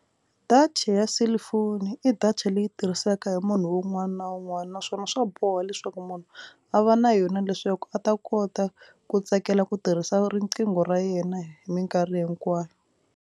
Data ya cellphone i data leyi tirhisaka hi munhu un'wana na un'wana naswona swa boha leswaku munhu a va na yona leswaku a ta kota ku tsakela ku tirhisa riqingho ra yena hi mikarhi hinkwayo.